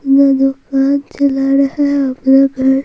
दुकान चला रहा है --